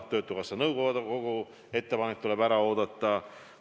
Töötukassa nõukogu ettepanek tuleb ära oodata.